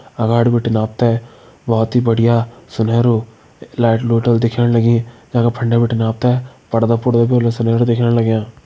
अगाड़ बटिन आपथे बहोत ही बढ़िया सुनहेरो लाइट लुइट होल दिख्येण लगीं जख फंडे बटिन आपथे पड़दा-पुडदा भी होला सभेण दिख्येण लग्यां।